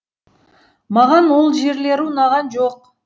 маған ол жерлері ұнаған жоқ